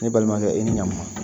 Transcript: Ne balimakɛ e ni ɲankuma.